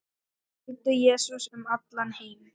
Fylgdu Jesú um allan heim